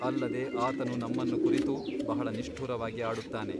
ಅಲ್ಲದೆ ಆತನು ನಮ್ಮನ್ನು ಕುರಿತು ಬಹಳ ನಿಷ್ಠುರವಾಗಿ ಆಡುತ್ತಾನೆ.